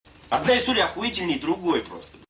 отдай стулья охуительней другой просто